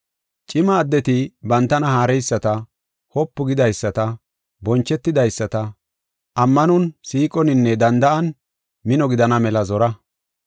Cima addeti bantana haareyisata, wopu gidaysata, bonchetidaysata, ammanon, siiqoninne danda7an, mino gidana mela zora.